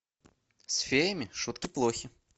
с феями шутки плохи